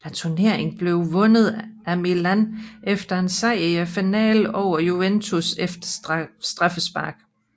Turneringen blev vundet af Milan efter en sejr i finalen over Juventus efter straffespark